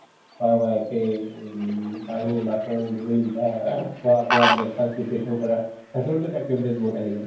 বা wife য়ে um কাঁহী বাচন ধুই বা ing খোৱা-বোৱা breakfast preparation কৰা তাতেও কিন্তু activities বহুত আহি যায়